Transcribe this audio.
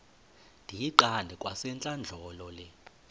ndiyiqande kwasentlandlolo le